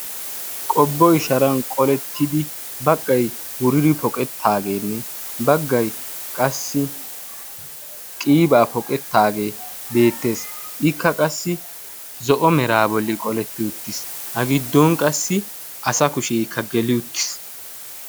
Qobboy sharan qolettidi baggai wuriri poqettaageenne baggai qassi qiibaa poqettaagee beettees ikka qassi zo'o meraa bolli qoletti uttiis. ha giddon qassi asa kusheikka geli uttiis.